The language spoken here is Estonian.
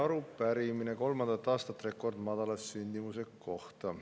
Arupärimine kolmandat aastat rekordmadala sündimuse kohta.